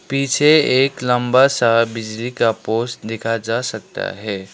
पीछे एक लंबा सा बिजली का पोल्स देखा जा सकता है।